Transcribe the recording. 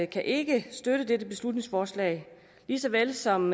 kan ikke støtte dette beslutningsforslag lige så vel som